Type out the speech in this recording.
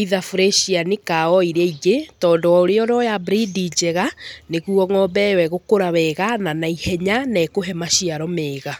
either burecianĩ kaa o iria ingĩ, tondũ o ũrĩa ũroya burindi njega, nĩguo ng'ombe ĩyo ĩgũkũra wega, na naihenya, na ĩkũhe maciaro mega.